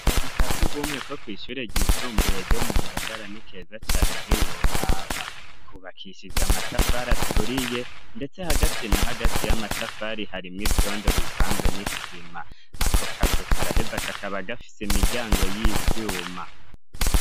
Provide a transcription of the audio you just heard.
Kazukasi ugumwe ko kw'ishure ryisumbuye ryo mu ngagara n'ikeza cane ntiworaba kubakishije amatafari aturiye, ndetse hagati na hagati y'amatafari harimwo ivyondo bivanze n'isima ako kazuka araheza kakaba agafise imiryango y'ivyuma.